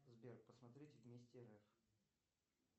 сбер посмотреть вместе рф